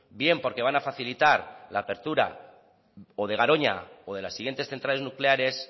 bien porque van a facilitar la reapertura o de garoña o de las siguientes centrales nucleares